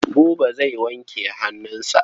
Buba zai wanke hannu.